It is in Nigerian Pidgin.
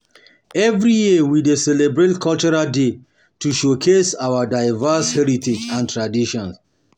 Every year, we um dey celebrate cultural day to showcase our diverse heritage and traditions.